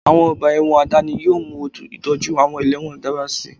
Àwọn ọgbà ẹ̀wọ̀n àdáni yóò mú ìtọ́jú àwọn ẹlẹ́wọ̀n dára sí i